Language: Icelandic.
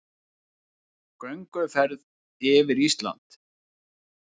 Gönguferð yfir Ísland